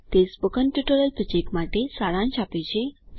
તે spoken tutorial project માટે સારાંશ આપે છે